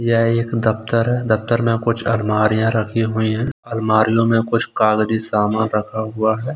यह एक दफ्तर है दफ्तर में कुछ अलमारि याँ रखी हुई हैं अलमारि यों में कुछ कागजी सामान रखा हुआ है।